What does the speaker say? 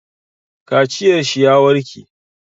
Kaciyar shi ya warke.